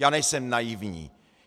Já nejsem naivní.